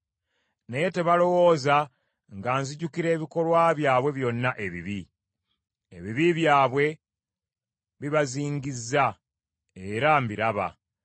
Naye tebalowooza nga nzijukira ebikolwa byabwe byonna ebibi. Ebibi byabwe bibazingizza, era mbiraba.